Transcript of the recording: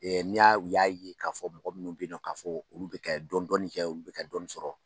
n'i y'a u y'a ye k'a fɔ mɔgɔ minnu bɛ ye nɔ k'a fɔ olu bɛ kɛ dɔni dɔni kɛ ulu bɛ kɛ dɔɔni sɔrɔ.